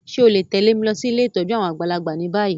Ṣe o le tẹ̀lé mi losí ilé ìtójú àwon àgbàlagbà ni bayi?